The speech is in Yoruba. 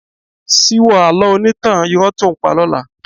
Síwọ́ àlọ́ onítàn irọ́ tó ǹ pa lọ́la.